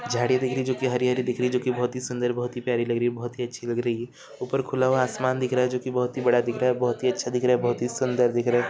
झाड़ी दिख रही है जो कि हरी-हरी दिख रही है जो कि बहुत ही सुंदर बहुत ही प्यारी लग रही है बहुत ही अच्छी लग रही है ऊपर खुला हुआ आसमान दिख रहा है जो कि बहुत ही बड़ा दिख रहा है बहुत ही अच्छा दिख रहा है बहुत ही सुंदर दिख रहा है।